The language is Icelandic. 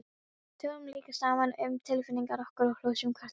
Tölum líka saman um tilfinningar okkar og hrósum hvort öðru.